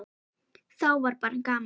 Þá var bara gaman.